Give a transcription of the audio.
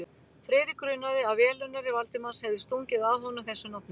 Friðrik grunaði, að velunnari Valdimars hefði stungið að honum þessu nafni.